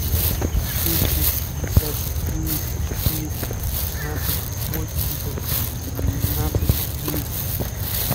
двести пятьдесят девять четыре шестнадцать восемьдесят шестнадцать двести